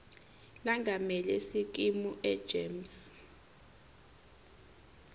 lengamele sikimu egems